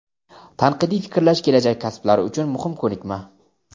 Tanqidiy fikrlash kelajak kasblari uchun muhim ko‘nikma.